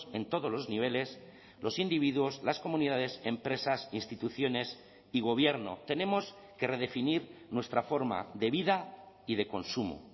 en todos los niveles los individuos las comunidades empresas instituciones y gobierno tenemos que redefinir nuestra forma de vida y de consumo